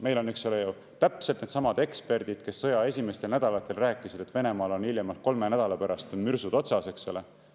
Meil on ju need eksperdid, kes sõja esimestel nädalatel rääkisid, et Venemaal on hiljemalt kolme nädala pärast mürsud otsas, eks ole.